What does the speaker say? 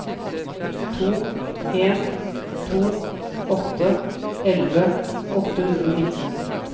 to en to åtte elleve åtte hundre og nitten